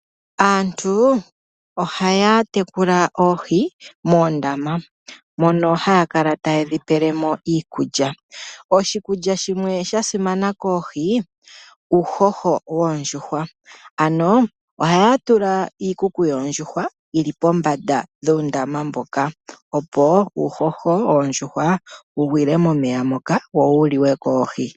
Aantu ohaya tekula oohi moondama mono haya kala ta yedhi pelemo iikulya . Oshikulya shimwe sha simana koohi owo uuhoho woondjuhwa ,ano ohaya tula iikuku yoondjuhwa yili pombanda dhoondama ndhoka opo uuhoho woondjuhwa wu gwile momeya wo wuliwe koohi.